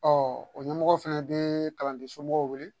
Ɔ o ɲɛmɔgɔ fɛnɛ bɛ kalanden somɔgɔw wele